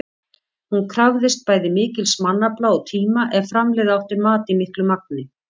Hún krafðist bæði mikils mannafla og tíma ef framleiða átti mat í miklu magni.